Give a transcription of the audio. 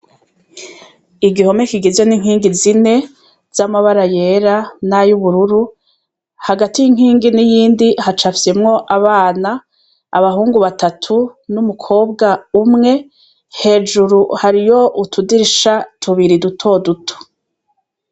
Igihome kigizwe n'inkingi zine z'amabara yera n'ay'ubururu, hagati y'inkingi n'iyindi hacafyemwo abana, abahungu batatu n'umukobwa umwe, hejuru hariyo utudirisha tubiri dutoduto.